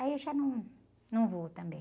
Aí eu já num, não vou também.